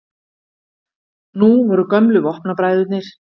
Nú voru gömlu vopnabræðurnir